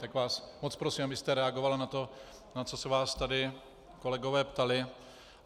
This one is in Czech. Tak vás moc prosím, abyste reagovala na to, na co se vás tady kolegové ptali.